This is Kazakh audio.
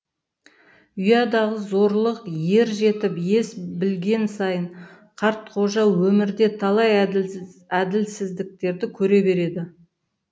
ұядағы зорлық ер жетіп ес білген сайын қартқожа өмірде талай әділсіздіктерді көре береді